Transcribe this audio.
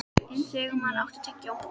Sigmann, áttu tyggjó?